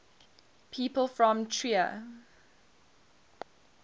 people from trier